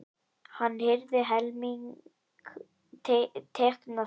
Hann hirði helming tekna þeirra.